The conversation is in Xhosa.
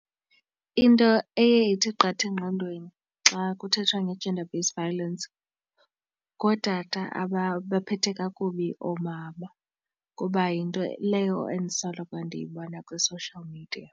Into eye ithi qatha engqondweni xa kuthethwa nge-gender based violence ngootata ababaphethe kakubi oomama kuba yinto leyo endisoloko ndiyibona kwi-social media.